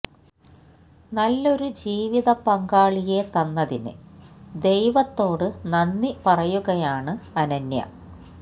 നല്ലൊരു ജീവിത പങ്കാളിയെ തന്നതിന് ദൈവത്തോട് നന്ദി പറയുകയാണ് അനന്യ